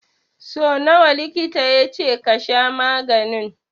So nawa likita ya ce ka sha maganin?